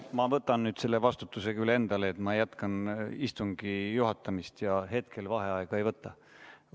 Ma võtan nüüd selle vastutuse küll endale, et ma jätkan istungi juhatamist ja hetkel vaheaega ei võta.